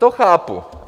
To chápu.